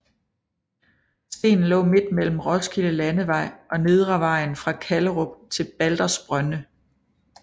Stenen lå midt mellem Roskilde Landevej og Nedrevejen fra Kallerup til Baldersbrønde